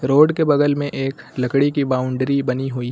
Road के बगल में एक लकड़ी की बाउंड्री बनी हुई है।